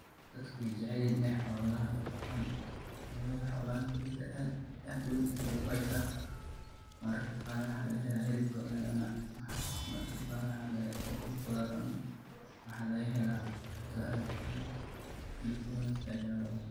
Dadka wey jecelyihin iney xolahan dhaqdan wayo xolaha faido aad iyo aad uwen aya luguhesta mararka qar waxa lagahela hilib aya lacuna mararka qar ukuntoda aya lacuna waxa lagahela cunta aad ufican hilibkodana said aya locuna.